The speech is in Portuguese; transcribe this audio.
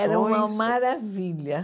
Era uma maravilha.